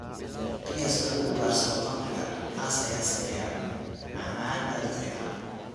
Pears lagu ugaarsado khamriga cas ayaa sameeya macmacaan aad u fiican.